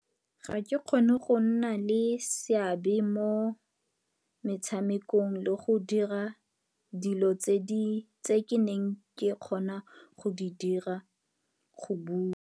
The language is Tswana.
Ga ke kgone go nna le seabe mo metshamekong le go dira dilo tse ke neng ke kgona go di dira, go bua.